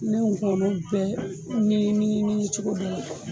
Ne kɔnɔ bɛ mini mini cogo bɛ la